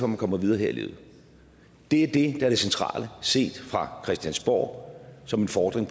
man kommer videre her i livet det er det er det centrale set fra christiansborg som en fordring